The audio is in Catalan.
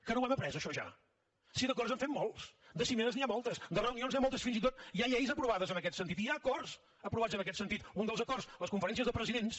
que no ho hem après això ja si d’acords en fem molts de cimeres n’hi ha moltes de reunions n’hi ha moltes fins i tot hi ha lleis aprovades en aquest sentit hi ha acords aprovats en aquest sentit un dels acords les conferències de presidents